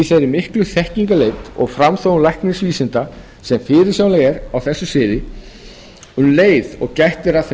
í þeirri miklu þekkingarleit og framþróun læknavísinda sem fyrirsjáanleg er á þessu sviði um leið og gætt er að þeim